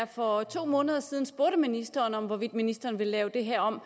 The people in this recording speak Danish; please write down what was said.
for to måneder siden spurgte ministeren om hvorvidt ministeren ville lave det her om